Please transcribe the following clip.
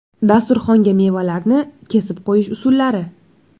Dasturxonga mevalarni kesib qo‘yish usullari .